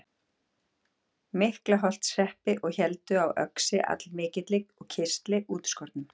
Miklaholtshreppi og héldu á öxi allmikilli og kistli útskornum.